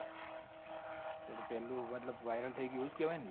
એટલે પેલું મતલબ viral થઇ ગયું એવું જ કેવાય ને લ્યા